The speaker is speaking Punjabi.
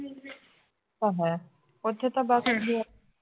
ਘੁੰਮੈ ਉਥੇ ਤਾਂ ਬਸ